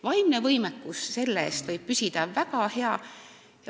Vaimne võimekus võib selle eest püsida väga hea.